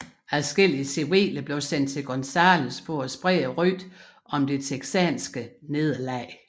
Adskillige civile blev sendt til Gonzales for at sprede rygtet om det texanske nederlag